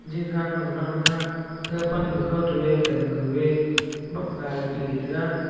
gaga pan nu e kha toh e gan gu ya bap ga ley taiga.